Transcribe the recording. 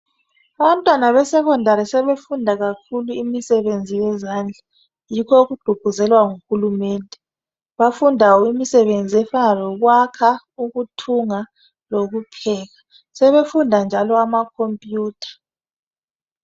Abantwana besekhondari sebefunda kakhulu imisebenzi yezandla yikho okugqugquzelwa nguhulumende bafunda imisebenzi efana lokwakha ukuthunga lokupheka sebefunda njalo ama khompiyutha.